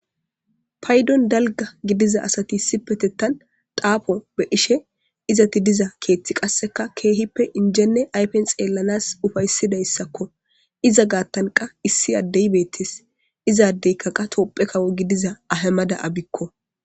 Paydon dalga gidiza asati sipetettan daafo be ishe izati diza keeththi qasseka keehippe injenne aypen xeellanas ufaysidayssakko iza gaattanqa issi addey beettes izaaddeykka qa topphe kawo gidiza ahamada,abikko.